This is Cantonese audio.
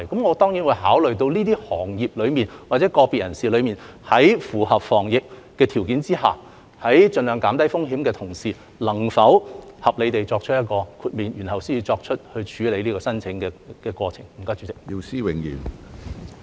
我當然會考慮到，對於這些行業人士或者個別人士，在符合防疫的條件下及盡量減低風險的同時，能否合理地作出豁免，然後處理有關申請。